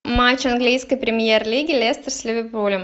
матч английской премьер лиги лестер с ливерпулем